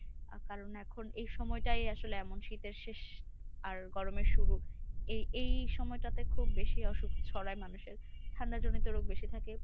আহ কারণ এখন এই সময়টাই আসলে এমন শীতের শেষ আর গরমের শুরু। এই এই সময়টাতে খুব বেশি অসুখ ছড়ায় মানুষের। ঠান্ডাজনিত রোগ বেশি থাকে।